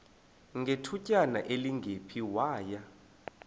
ngethutyana elingephi waya